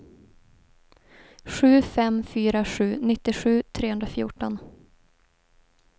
sju fem fyra sju nittiosju trehundrafjorton